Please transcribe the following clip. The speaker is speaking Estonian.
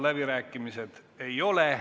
Läbirääkimiste avamise soovi ei ole.